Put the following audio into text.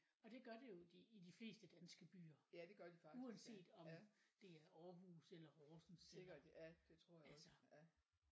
Og det gør det jo i de i de fleste danske byer uanset om det er Aarhus eller Horsens altså